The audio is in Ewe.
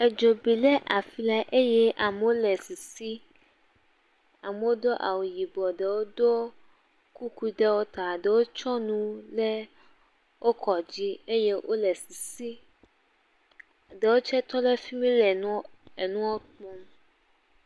Edzo bi ɖe afi ɖe eye amewo le sisi. Amewo do awu yibɔ ɖewo tse wokɔ kuku ɖe ta. Wotsɔ nu ɖe wokɔ dzi eye wole sisim. Ɖewo tse tɔ ɖe efimi le enɔa kum.